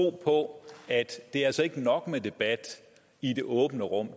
på at det altså ikke er nok med debat i det åbne rum